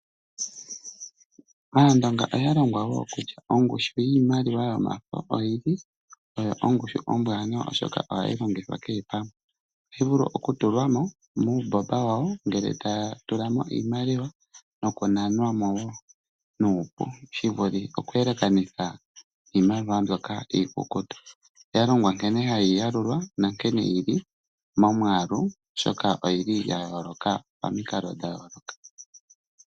Aandonga oya longwa woo kutya ongushu yiimaliwa yomafo oyili oyo ongushu ombwaanawa oshoka ohayi longithwa kehe pamwe, ohayi vulu okutulwa mo nuumbomba wawo noku nanwa mo woo, shivulithe okweelekanitha niimaliwa mbyoka iikukutu. Oya longwa nkene hayi yalulwa nankene yili momwaalu oshoka oyili yayooloka pamikalo dhayooloka.